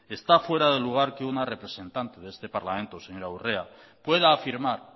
está fuera de lugar que una representante de este parlamento señora urrea pueda afirmar